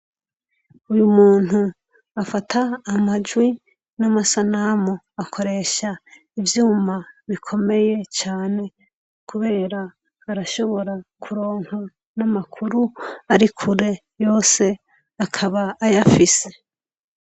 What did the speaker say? Uyu munyu afata amajwi n'amasanamu, akoresha ivyuma bikomeye cane kubera arashobora kuronka n'amakuru ari kure yose akaba ayafise.